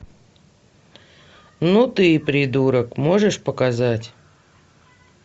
ну ты и придурок можешь показать